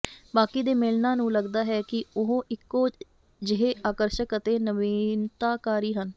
ਬਾਕੀ ਦੇ ਮੇਨਲਾਂ ਨੂੰ ਲਗਦਾ ਹੈ ਕਿ ਉਹ ਇਕੋ ਜਿਹੇ ਆਕਰਸ਼ਕ ਅਤੇ ਨਵੀਨਤਾਕਾਰੀ ਹਨ